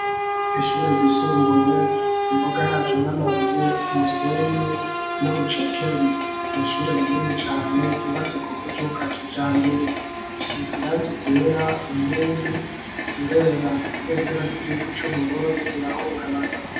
Ishure ryisumbuye imboga yacu n'amabuye umusenyi n'urucekeri n'ishure rinini cane ryubatse ku buryo bwakijambere risize irangi ryera inkingi zirera ibendera ry'igihugu c'uBurundi rirahungabana.